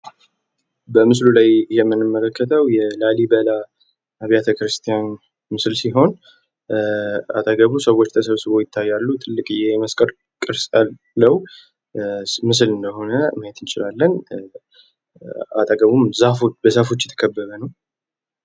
በምስሉ ላይ የምንመለከተው የላሊበላ አቢያተክርስቲያን ምስል ሲሆን ፤ አጠገቡ ሰዎች ተሰብስበዉ ይታያሉ፣ ትልቅየ የመስቀል ቅርጽ ያለዉ ምስል እንደሆነ ማየት እንችላለን። አጠገቡም በዛፎች የተከበበ ነዉ።